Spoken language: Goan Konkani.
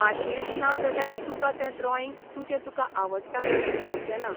पाशयेंस नाजाल्यार तुका तें ड्रॉईंग तुजें तुका आवडता तशें जावचें ना.